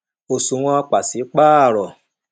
òṣùwọ̀n pàṣípàrọ̀